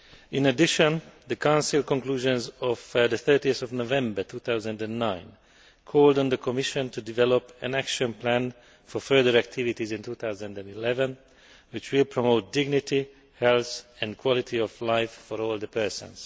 In addition, the Council conclusions of 30 November 2009 called on the Commission to develop an action plan for further activities in 2011, which will promote dignity, health and quality of life for older persons'.